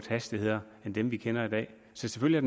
hastigheder end dem vi kender i dag så selvfølgelig